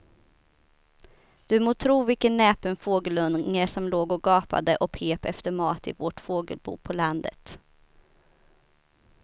Du må tro vilken näpen fågelunge som låg och gapade och pep efter mat i vårt fågelbo på landet.